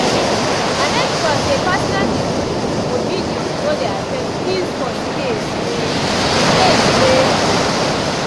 i make sure say personal music or videos no dey affect peace for space wey space wey we dey share